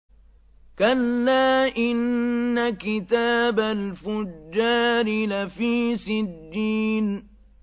كَلَّا إِنَّ كِتَابَ الْفُجَّارِ لَفِي سِجِّينٍ